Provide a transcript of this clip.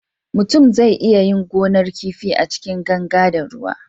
mutum zai iya yin gonar kifi A cikin ganga na ruwa